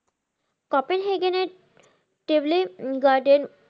কপেন হেগেনের